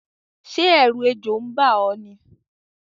Sé èrù ejò n ba ó ní?